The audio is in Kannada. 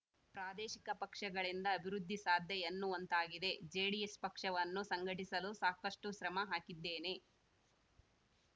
ಪ್ರಾದೇಶಿಕ ಪಕ್ಷಗಳಿಂದ ಅಭಿವೃದ್ಧಿ ಸಾಧ್ಯ ಎನ್ನುವಂತಾಗಿದೆ ಜೆಡಿಎಸ್‌ ಪಕ್ಷವನ್ನು ಸಂಘಟಿಸಲು ಸಾಕಷ್ಟುಶ್ರಮ ಹಾಕಿದ್ದೇನೆ